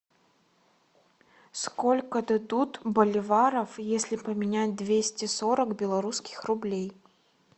сколько дадут боливаров если поменять двести сорок белорусских рублей